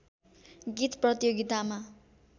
गीत प्रतियोगितामा